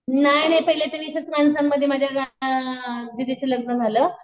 नाही नाही पहिले तर वीसच माणसांमध्ये माझ्या दीदीचं लग्न झालं.